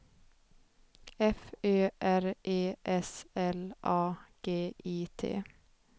F Ö R E S L A G I T